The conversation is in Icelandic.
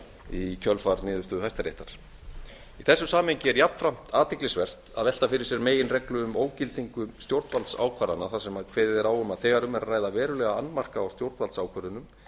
í kjölfar niðurstöðu hæstaréttar í þessu samhengi er jafnframt athyglisvert að velta fyrir sér meginreglu um ógildingu stjórnvaldsákvarðana þar sem kveðið er á um að þegar um er að ræða verulega annmarka á stjórnvaldsákvörðunum